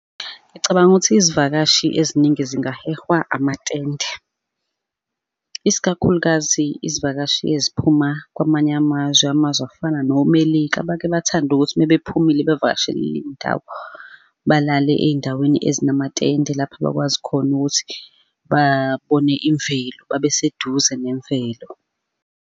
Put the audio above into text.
Ngicabanga ukuthi izivakashi eziningi zingahehwa amatende, isikakhulukazi izivakashi eziphuma kwamanye amazwe, amazwe afana nomelika, abake bathande ukuthi mebephumile bevakashelile iy'ndawo, balale ey'ndaweni ezinamatende lapha abakwazi khona ukuthi babone imvelo babe seduze nemvelo.